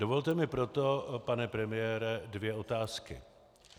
Dovolte mi proto, pane premiére, dvě otázky.